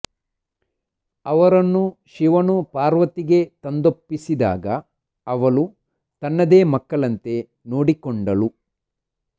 ಅವರನ್ನು ಶಿವನು ಪಾರ್ವತಿಗೆ ತಂದೊಪ್ಪಿಸಿದಾಗ ಅವಳು ತನ್ನದೇ ಮಕ್ಕಳಂತೆ ನೋಡಿಕೊಂಡಳು